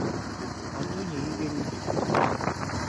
антоне игоревиче